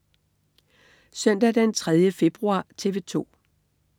Søndag den 3. februar - TV 2: